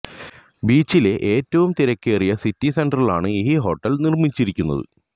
ബീച്ചിലെ ഏറ്റവും തിരക്കേറിയ സിറ്റി സെന്ററിലാണ് ഈ ഹോട്ടൽ നിർമ്മിച്ചിരിക്കുന്നത്